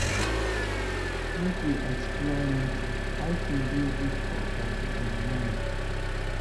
Make we explore nature; hiking dey good for body and mind.